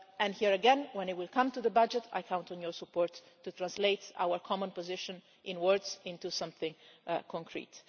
Here again, when it comes to the budget, I count on your support to translate our common position in words into something concrete.